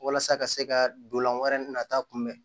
Walasa ka se ka dolan wɛrɛ nata kunbɛ